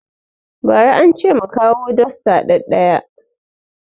Ba ra ance mu kawo dosta ɗaɗaya